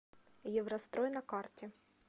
еврострой на карте